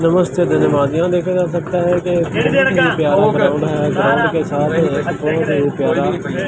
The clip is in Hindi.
नमस्ते धन्यवाद यहां देखा जा सकता है। ]